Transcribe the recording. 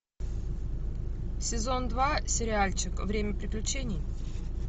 сезон два сериальчик время приключений